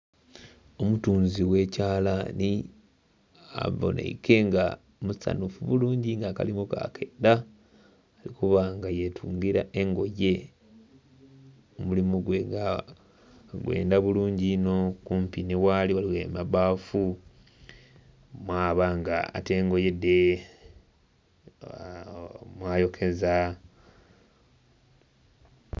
Omutunzi gh'ekyalani abonheike nga musanhufu bulungi nga akalimu ke akendha, okuba nga yetungira engoye. Omulimu gwe nga agwenda bulungi inho. Kumpi nhi ghali ghaligho amabbafu, mwaba nga atta engoye dhe, mwayokeza.